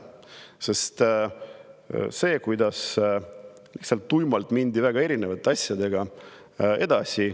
Sest seni lihtsalt tuimalt mindi väga erinevate asjadega edasi.